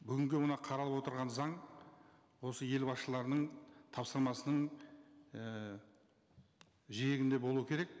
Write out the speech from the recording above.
бүгінгі мына қаралып отырған заң осы елбасшыларының тапсырмасының ііі жиегінде болу керек